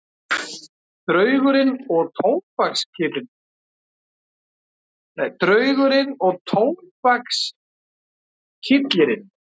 Draugurinn og tóbakskyllirinn